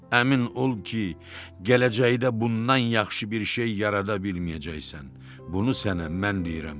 Əmin ol ki, gələcəkdə bundan yaxşı bir şey yarada bilməyəcəksən, bunu sənə mən deyirəm.